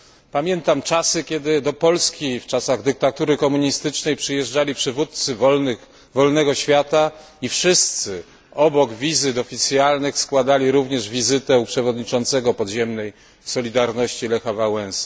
Pamiętam czasy, kiedy do Polski w czasach dyktatury komunistycznej przyjeżdżali przywódcy wolnego świata i wszyscy, obok wizyt oficjalnych, składali również wizytę u przewodniczącego podziemnej Solidarności, Lecha Wałęsy.